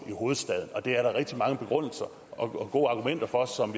i hovedstaden og det er der rigtig mange begrundelser og gode argumenter for som